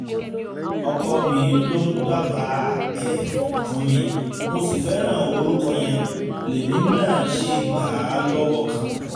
ọkọ mi ló dábàá ẹ̀ fún mi mo sì fẹ́ràn orúkọ yẹn lèmi náà ṣe gbà á lọ́wọ́ kan